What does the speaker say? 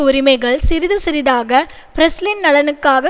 உரிமைகள் சிறிது சிறிதாக பிரஸ்லின் நலனுக்காக